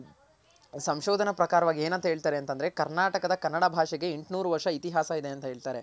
ಏನು ಸಂಶೋದನ ಪ್ರಾಕಾರವಾಗ್ ಏನಂತ ಹೇಳ್ತಾರೆ ಅಂತಂದ್ರೆ ಕರ್ನಾಟಕದ ಕನ್ನಡ ಭಾಷೆಗೆ ಎಂಟುನೂರ್ ವರ್ಷ ಇತಿಹಾಸ ಇದೆ ಅಂತ ಹೇಳ್ತಾರೆ.